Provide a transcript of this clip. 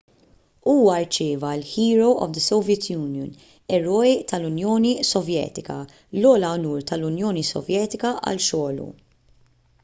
huwa rċieva l- "hero of the soviet union"” eroj tal-unjoni sovjetika l-ogħla unur tal-unjoni sovjetika għal xogħlu